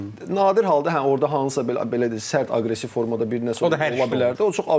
Və nadir halda hə orda hansısa belə, belə deyək sərt aqressiv formada bir nəsə ola bilərdi.